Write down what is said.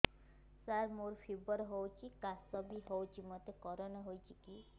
ସାର ମୋର ଫିବର ହଉଚି ଖାସ ବି ହଉଚି ମୋତେ କରୋନା ହେଇଚି କି